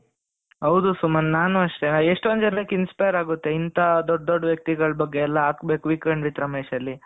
ಹೌದು ಸುಮಂತ್ ನಾನು ಅಷ್ಟೇ ಎಷ್ಟೊಂದು ಜನಕ್ಕೆ inspire ಆಗುತ್ತೆ ಇಂಥ ದೊಡ್ಡ ದೊಡ್ಡ ವ್ಯಕ್ತಿಗಳ ಬಗ್ಗೆ ಎಲ್ಲಾ ಹಾಕಬೇಕು weekend with ರಮೇಶ್ ಅಲ್ಲಿ,